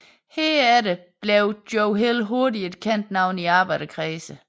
Herefter blev Joe Hill hurtigt et kendt navn i arbejderkredse